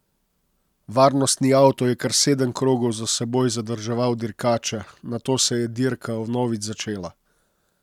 Varnostni avto je kar sedem krogov za seboj zadrževal dirkače, nato se je dirka vnovič začela.